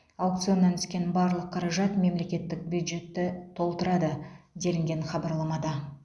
аукционнан түскен барлық қаражат мемлекеттік бюджетті толтырады делінген хабарламада